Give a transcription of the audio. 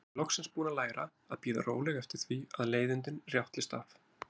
Ég er loksins búin að læra að bíða róleg eftir því að leiðindin rjátlist af.